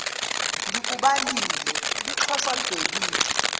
ngikubale lixhoshwa libhekile